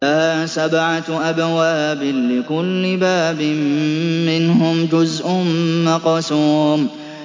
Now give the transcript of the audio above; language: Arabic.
لَهَا سَبْعَةُ أَبْوَابٍ لِّكُلِّ بَابٍ مِّنْهُمْ جُزْءٌ مَّقْسُومٌ